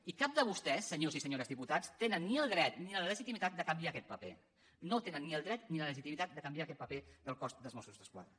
i cap de vostès senyores i senyors diputats tenen ni el dret ni la legitimitat de canviar aquest paper no tenen ni el dret ni la legitimitat de canviar aquest paper del cos de mossos d’esquadra